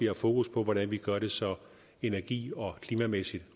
har fokus på hvordan vi gør det så energi og klimamæssigt